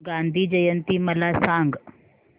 गांधी जयंती मला सांग